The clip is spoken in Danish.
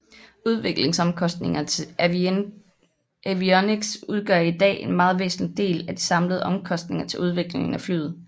Udviklingsomkostningerne til avionics udgør i dag en meget væsentlig del af de samlede omkosntinger til udviklingen af flyet